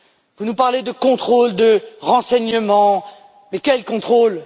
Vous nous parlez de contrôles, de renseignement, mais quels contrôles?